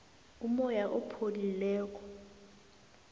umoya opholileko